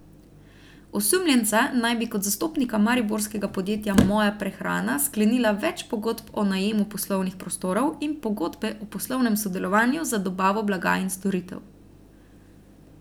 Osumljenca naj bi kot zastopnika mariborskega podjetja Moja prehrana sklenila več pogodb o najemu poslovnih prostorov in pogodbe o poslovnem sodelovanju za dobavo blaga in storitev.